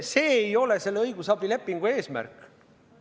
See ei ole selle õigusabilepingu eesmärk.